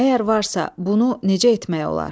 Əgər varsa, bunu necə etmək olar?